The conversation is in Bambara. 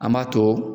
An b'a to